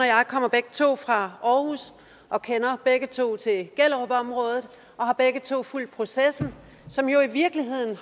jeg kommer begge to fra aarhus og kender begge to til gellerupområdet og har begge to fulgt processen som jo i virkeligheden